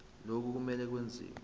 lokhu kumele kwenziwe